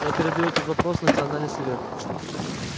я передаю этот вопрос в национальный совет